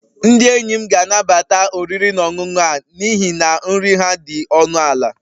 Ndị enyi m ga-anabata oriri na ọṅụṅụ a n'ihi na nri ha dị ọnụ ala